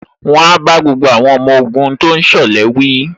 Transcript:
Wọ́n á bá gbogbo àwọn ọmọ ogun tó ń ṣọ̀lẹ wí